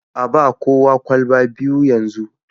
a ba kowa kwalba biyu yanzu